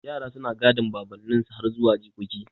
Yara suna gadan baban ninsu har zuwa jikoki